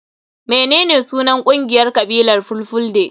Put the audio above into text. Menene sunan kungiyar kabilar fulfulde?